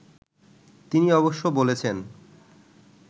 তিনি অবশ্য বলেছেন